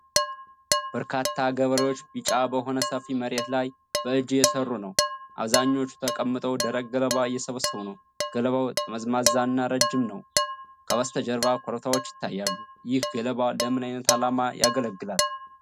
በርካታ ገበሬዎች ቢጫ በሆነ ሰፊ መሬት ላይ በእጅ እየሰሩ ነው። አብዛኛዎቹ ተቀምጠው ደረቅ ገለባ እየሰበሰቡ ነው። ገለባው ጠመዝማዛና ረጅም ነው። ከበስተጀርባ ኮረብታዎች ይታያሉ። ይህ ገለባ ለምን አይነት ዓላማ ያገለግላል?